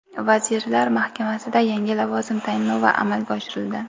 Vazirlar Mahkamasida yangi lavozim tayinlovi amalga oshirildi.